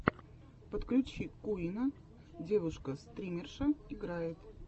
подключи куинна девушка стримерша играет